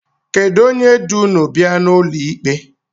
Kedu onye du ụnụ bịa n’ụlọ ikpe?